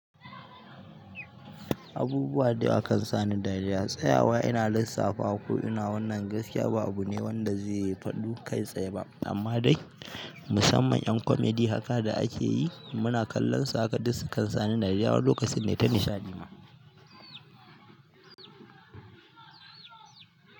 Abubuwa da yawa kan sa ni dariya tsayawa ina lissafawa ko ina wannan gaskiya ba abu ne wanda zai fadu kai tsaye ba amma dai musamman ƴan komedi haka da akeyi muna kallon su haka duk sukan sa ni dariya wani lokaci nayi ta nishaɗi ma.